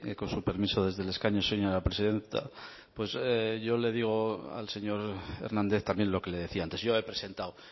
con su permiso desde el escaño señora presidenta pues yo le digo al señor hernández también lo que le decía antes yo he presentado